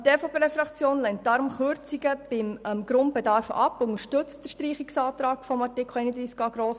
Die EVP-Fraktion lehnt deshalb Kürzungen beim Grundbedarf ab und unterstützt grossmehrheitlich den Antrag auf Streichung von Artikel 31a.